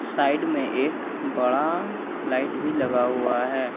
Side में एक बड़ा लाइट भी लगा हुआ है।